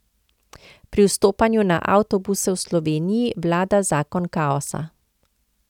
Pri vstopanju na avtobuse v Sloveniji vlada zakon kaosa.